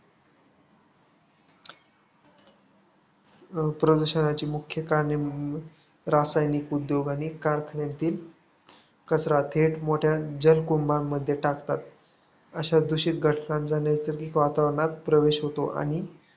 प्रदूषणाची मुख्य कारणे रासायनिक उद्योग आणि कारखान्यांतील कचरा थेट मोठ्या जलकुंडामध्ये टाकतात, अशा दूषित घटकांचा नैसर्गिक वातावरणात प्रवेश होतो आणि